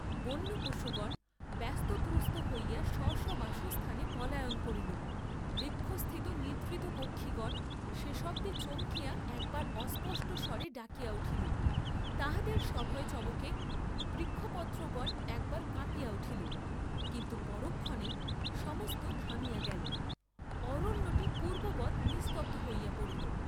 বন্য পশুগণ ব্যস্ত ত্রস্ত হইয়া স্ব স্ব বাসস্থানে পলায়ন করিল, বৃক্ষস্থিত নিদ্রিত পক্ষিগণ সে শব্দে চমকিয়া একবার অস্পষ্ট স্বরে ডাকিয়া উঠিল, তাহাদের সভয় চমকে বৃক্ষপত্রগণ একবার কাঁপিয়া উঠিল, কিন্তু পরক্ষণেই সমস্ত থামিয়া গেল, অরণ্যটি পূর্ব্ববৎ নিস্তব্ধ হইয়া পড়িল।